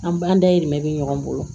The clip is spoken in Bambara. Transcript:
An ba dayirimɛ be ɲɔgɔn bolo